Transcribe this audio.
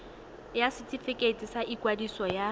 ya setefikeiti sa ikwadiso ya